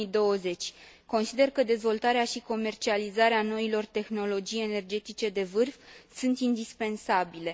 2020. Consider că dezvoltarea și comercializarea noilor tehnologii energetice de vârf sunt indispensabile.